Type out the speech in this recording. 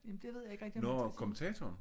Jamen det ved jeg ikke rigtigt om man skal